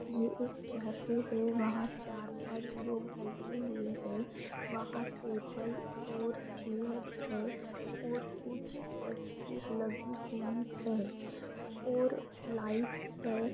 ये एक कैफे है वहाँ चार-पांच लोग बैठे हुए है वहाँ टेबल और चेयर्स है और कुछ तस्वीर लगी हुई है और लाइट्स है।